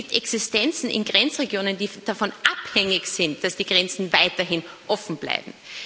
es gibt Existenzen in Grenzregionen, die davon abhängig sind, dass die Grenzen weiterhin offen bleiben.